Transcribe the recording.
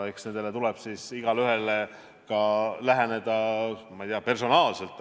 Eks nendele tuleb igaühele läheneda personaalselt.